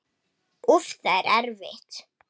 Úff, það er erfitt.